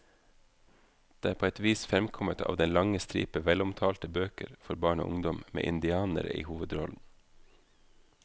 Det er på et vis fremkommet av den lange stripe velomtalte bøker for barn og ungdom med indianere i hovedrollen.